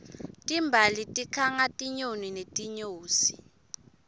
timbali tikhanga tinyoni netinyosi